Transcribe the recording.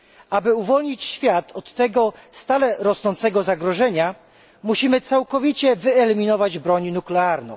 Aby uwolnić świat od tego stale rosnącego zagrożenia, musimy całkowicie wyeliminować broń nuklearną.